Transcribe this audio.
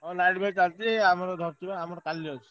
ହଁ night match ଚାଲିଚି ଆମର ଧ~ ରିଚୁ~ ବା ଆମର କାଲି ଅଛି।